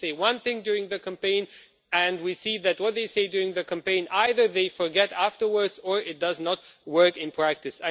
they say one thing during the campaign and then we see that what they say during the campaign they either forget it afterwards or it does not work in practice.